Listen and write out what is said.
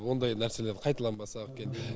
ондай нәрселер қайталанбаса екен